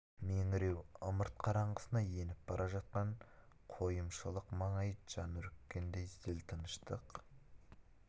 меңіреу ымырт қараңғысына еніп бара жатқан қойымшылық маңайы жан үріккендей зіл тыныштық